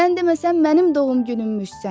Sən demə sən mənim doğum günümmüşsən.